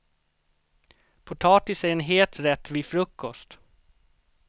Potatis är en het rätt vid frukost.